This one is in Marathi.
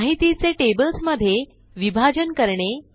माहितीचे टेबल्स मध्ये विभाजन करणे